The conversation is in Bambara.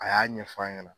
A y'a ɲɛfɔ a ɲɛna